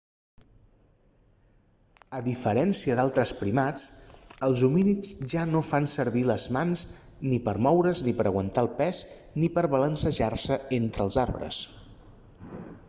a diferència d'altres primats els homínids ja no fan servir les mans ni per moure's ni per aguantar el pes ni per balancejar-se entre els arbres